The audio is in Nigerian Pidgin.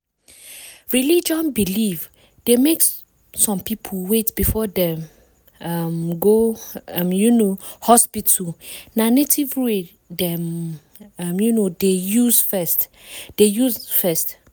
religion belief dey make some people wait before dem um go um hospital na native way dem um dey use first. dey use first.